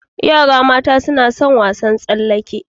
Yara mata suna sun wasan tsallake.